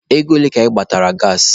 Ego ole ka ị gbatara gaasị?